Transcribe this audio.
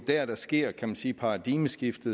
der der sker kan man sige det paradigmeskifte